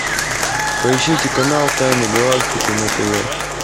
поищите канал тайны галактики на тв